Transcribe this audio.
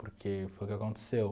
Porque foi o que aconteceu.